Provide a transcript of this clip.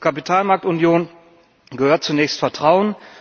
Zur Kapitalmarktunion gehört zunächst Vertrauen.